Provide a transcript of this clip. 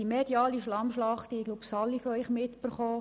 Die mediale Schlammschlacht haben wohl alle von Ihnen mitbekommen.